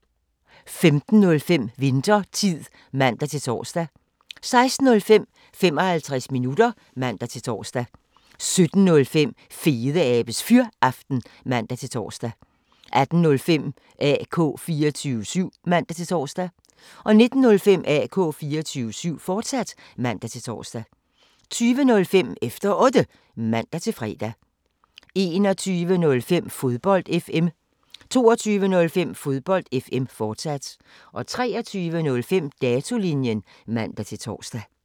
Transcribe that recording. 15:05: Winthertid (man-tor) 16:05: 55 minutter (man-tor) 17:05: Fedeabes Fyraften (man-tor) 18:05: AK 24syv (man-tor) 19:05: AK 24syv, fortsat (man-tor) 20:05: Efter Otte (man-fre) 21:05: Fodbold FM 22:05: Fodbold FM, fortsat 23:05: Datolinjen (man-tor)